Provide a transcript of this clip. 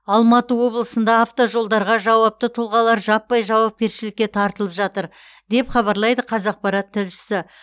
алматы облысында автожолдарға жауапты тұлғалар жаппай жауапкершілікке тартылып жатыр деп хабарлайды қазақпарат тілшісі